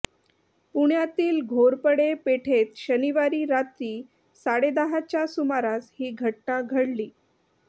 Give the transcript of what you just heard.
पुण्यातील घोरपडे पेठेत शनिवारी रात्री साडेदहाच्या सुमारास ही घटना घडली